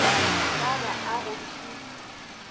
shaba a go thu se